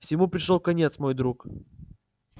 всему пришёл конец мой друг